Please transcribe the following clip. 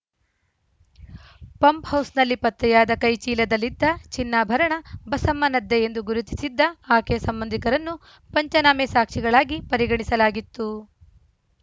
ಪಂಪ್‌ಹೌಸ್‌ನಲ್ಲಿ ಪತ್ತೆಯಾದ ಕೈಚೀಲದಲ್ಲಿದ್ದ ಚಿನ್ನಾಭರಣ ಬಸಮ್ಮನದ್ದೇ ಎಂದು ಗುರುತಿಸಿದ್ದ ಆಕೆಯ ಸಂಬಂಧಿಕರನ್ನು ಪಂಚನಾಮೆ ಸಾಕ್ಷಿಗಳಾಗಿ ಪರಿಗಣಿಸಲಾಗಿತ್ತು